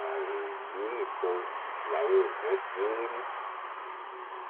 ààrùn ìlú nìkan làwọn èèyàn ti ń rìn